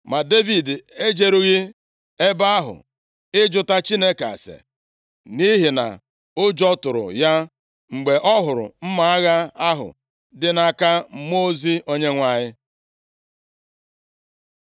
Ma Devid ejerughị ebe ahụ ịjụta Chineke ase, nʼihi na ụjọ tụrụ ya mgbe ọ hụrụ mma agha ahụ dị nʼaka mmụọ ozi Onyenwe anyị.